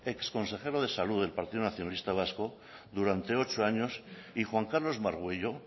exconsejero de salud del partido nacionalista vasco durante ocho años y juan carlos margüello